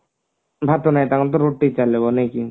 ଭାତ ନାଇଁ ତାଙ୍କର ତ ରୁଟି ଚାଲେ ମାନେ